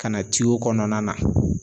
Ka na ityo kɔnɔna na